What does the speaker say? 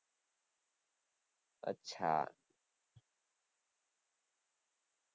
અચ્છા